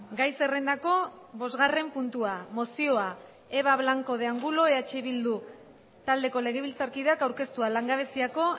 gai zerrendako bosgarren puntua mozioa eva blanco de angulo eh bildu taldeko legebiltzarkideak aurkeztua langabeziako